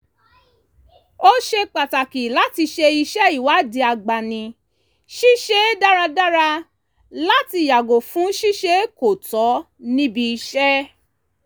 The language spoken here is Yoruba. ó ṣe pàtàkì láti ṣe iṣẹ́ ìwádìí agbani-síṣẹ́ dáradára láti yàgò fún ṣíṣe kò tọ́ níbi iṣẹ́